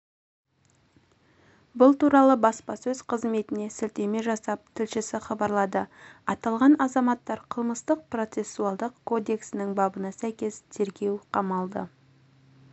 бұл туралы баспасөз қызметіне сілтеме жасап тілшісі хабарлады аталған азаматтар қылмыстық-процессуалдық кодексінің бабына сәйкес тергеу қамалдықамалды